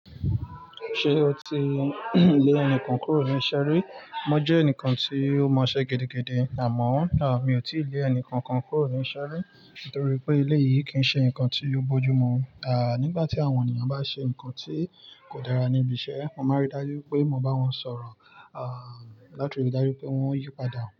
Ṣé o ti lé ẹnikan kúrò ní ìṣeri? Mo jẹ́ ẹnìkan tí ó mọṣẹ́ gedegbe àmọ́ náà mi ò tí ì lé ẹnìkankan kúrò ní ìṣeri. Nítorí pé eleyìí kì í ṣe ǹkan tí o bójú mu. À nígbà tí àwọn ènìyàn bá ṣe ǹkan tí kò dára níbi iṣẹ́, mo máa rí dájú pé mo bá wọn sọ̀rọ̀, à láti rí dájú pé wọ́n yípadà.